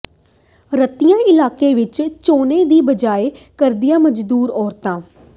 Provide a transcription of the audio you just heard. ਰਤੀਆ ਇਲਾਕੇ ਵਿਚ ਝੋਨੇ ਦੀ ਬਿਜਾਈ ਕਰਦੀਆਂ ਮਜ਼ਦੂਰ ਔਰਤਾਂ